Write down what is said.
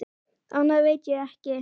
Annað veit ég ekki.